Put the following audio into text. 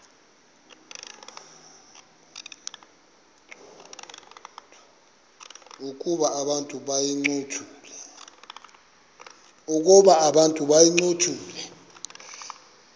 ukuba abantu bayincothule